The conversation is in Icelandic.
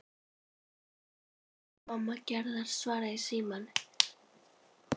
Mamma Gerðar svaraði í símann.